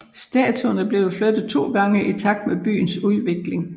Statuen er blevet flyttet to gange i takt med byens udvikling